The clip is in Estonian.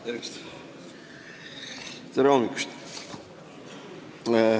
Tere hommikust!